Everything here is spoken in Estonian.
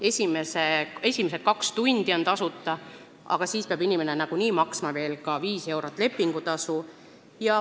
Esimesed kaks tundi on küll tasuta, aga inimene peab veel nagunii maksma 5 eurot lepingutasu.